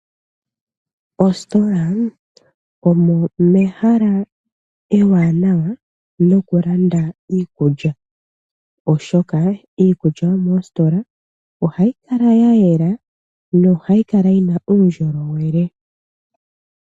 Oositola omo mehala ewanawa nokulanda iikulya, oshoka iikulya yomoositola ohayi kala ya yela yo ohayi kala yina uundjolowele.